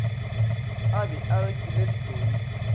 a be a rekile ditonki